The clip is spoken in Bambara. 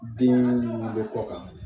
Den munnu bɛ kɔ kan